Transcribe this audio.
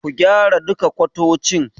Ku gyara duka kwatocin.